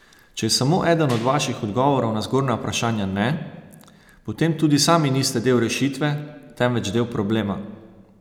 Če je samo eden od vaših odgovorov na zgornja vprašanja ne, potem tudi sami niste del rešitve, temveč del problema.